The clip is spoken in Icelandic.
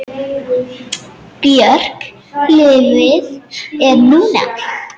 Björk Lífið er núna!